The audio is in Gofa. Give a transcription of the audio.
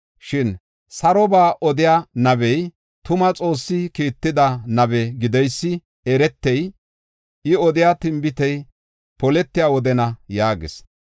Shin, Saroba odiya nabey, tuma Xoossi kiitida nabe gideysi eretey, I odiya tinbitey poletiya wodena” yaagis.